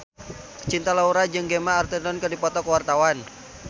Cinta Laura jeung Gemma Arterton keur dipoto ku wartawan